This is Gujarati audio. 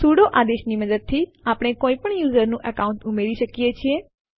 સુડો આદેશ ની મદદથી આપણે કોઇપણ યુઝર નું એકાઉન્ટ ઉમેરી શકીએ છીએ